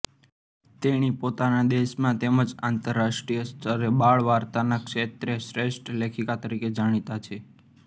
તેણી પોતાના દેશમાં તેમજ આંતરરાષ્ટ્રિય સ્તરે બાળવાર્તાના ક્ષેત્રે શ્રેષ્ઠ લેખિકા તરીકે જાણીતા છે